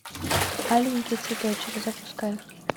аленький цветочек запускай